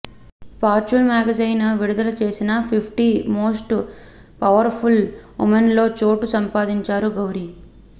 fortune magazine విడుదల చేసిన fifty most powerful ఉమెన్లో చోటు సంపాదించారు గౌరి